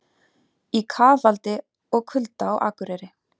Í kafaldi og kulda á Akureyri